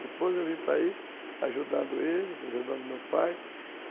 Depois eu vim para aí, ajudando ele, ajudando meu pai.